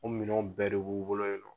U minɛw bɛɛ de b'u bolo yen nɔn.